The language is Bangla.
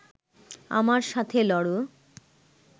আমার সাথে লড়